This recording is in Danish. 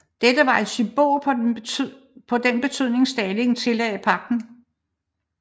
Dette var et symbol på den betydning Stalin tillagde pagten